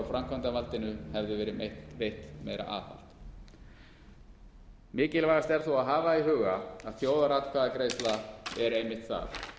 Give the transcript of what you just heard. framkvæmdarvaldinu hefði verið veitt meira aðhald mikilvægast er þó að hafa í huga að þjóðaratkvæðagreiðsla er einmitt það